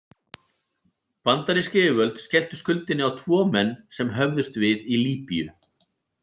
Bandarísk yfirvöld skelltu skuldinni á tvo menn sem höfðust við í Líbýu.